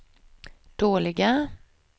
dåliga